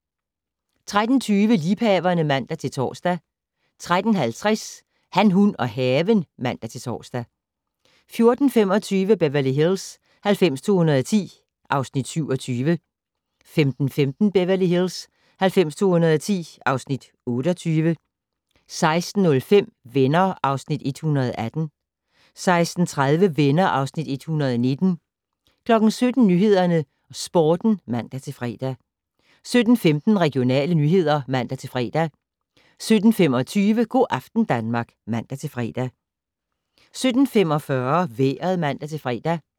13:20: Liebhaverne (man-tor) 13:50: Han, hun og haven (man-tor) 14:25: Beverly Hills 90210 (Afs. 27) 15:15: Beverly Hills 90210 (Afs. 28) 16:05: Venner (Afs. 118) 16:30: Venner (Afs. 119) 17:00: Nyhederne og Sporten (man-fre) 17:15: Regionale nyheder (man-fre) 17:25: Go' aften Danmark (man-fre) 17:45: Vejret (man-fre)